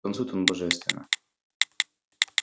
танцует она божественно